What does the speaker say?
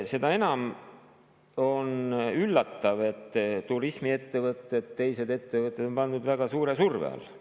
Seda enam on üllatav, et turismiettevõtted ja teised ettevõtted on pandud väga suure surve alla.